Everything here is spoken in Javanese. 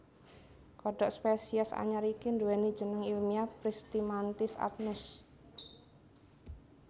Kodhok spesies anyar iki nduwèni jeneng ilmiah Pristimantis adnus